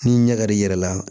Ni ɲɛ kar'i yɛrɛ la